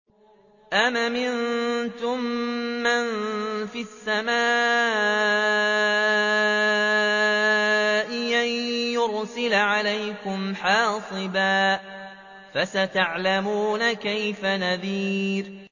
أَمْ أَمِنتُم مَّن فِي السَّمَاءِ أَن يُرْسِلَ عَلَيْكُمْ حَاصِبًا ۖ فَسَتَعْلَمُونَ كَيْفَ نَذِيرِ